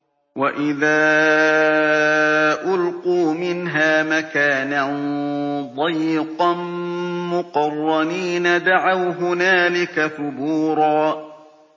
وَإِذَا أُلْقُوا مِنْهَا مَكَانًا ضَيِّقًا مُّقَرَّنِينَ دَعَوْا هُنَالِكَ ثُبُورًا